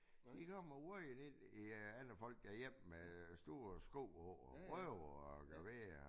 De kommer vadende ind i øh alle folks hjem med store sko på og ryger og gør ved og